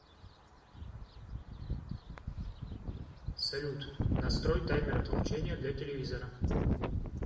салют настрой таймер отключения для телевизора